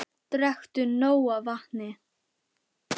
Drekktu nóg af vatni.